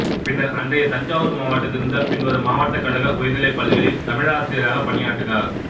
பின்னர் அன்றைய தஞ்சாவூர் மாவட்டத்திலிருந்த பின்வரும் மாவட்டக்கழக உயர்நிலைப்பள்ளிகளில் தமிழாசிரியராகப் பணியாற்றினார்